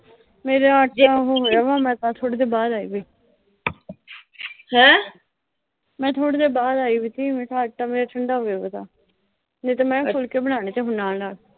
ਮੇਰਾ ਅੱਜ ਆਹ ਉਹੋ ਹੋਇਆ ਵਿਆ, ਮੈਂ ਤਾਂ ਥੋੜ੍ਹੀ ਦੇਰ ਬਾਹਰ ਆਈ ਏ ਮੈਂ ਥੋੜ੍ਹੀ ਦੇਰ ਬਾਹਰ ਆਈ ਹੋਈ ਸੀ, ਮੈਂ ਕਿਆ ਅੱਜ ਤਾਂ ਮੇਰਾ ਠੰਡਾ ਹੋਗਿਆ ਕੰਮ, ਨਹੀਂ ਤਾਂ ਮੈਂ ਫੁਲਕੇ ਬਣਾਉਣੇ ਸੀ ਨਾਲ-ਨਾਲ